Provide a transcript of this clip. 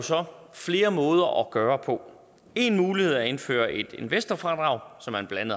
så flere måder at gøre på en mulighed er at indføre et investorfradrag som man blandt